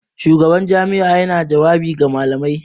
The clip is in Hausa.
Shugaban jami'a yana jawabi ga malamai.